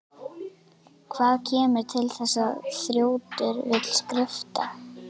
Hvað kemur til að þessi þrjótur vill skrifta?